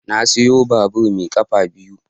Na sayo babur mai kafa biyu.